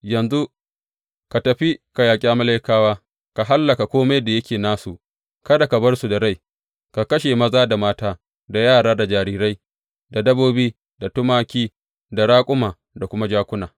Yanzu ka tafi ka yaƙi Amalekawa, ka hallaka kome da yake nasu, kada ka bar su da rai, ka kashe maza, da mata, da yara, da jarirai, da dabbobi, da tumaki, da raƙuma, da kuma jakuna.’